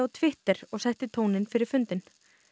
Twitter og setti tóninn fyrir fundinn